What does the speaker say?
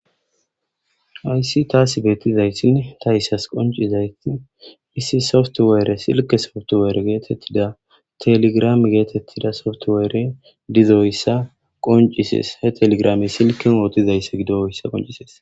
Ayssi taas beettizaysinne ta issas qoncizayti misi softwaere silke softowere geetettida teligrame geetettida softoweere dizoyssa qoncisees he telegrame silken wootizayssa gido'oyssa qoncisees.